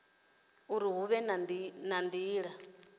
uri hu vhe na nila